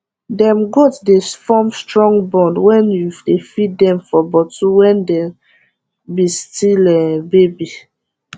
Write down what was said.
dem goat dey form strong bond wen u dey feed dem for bottle wen dey be still um baby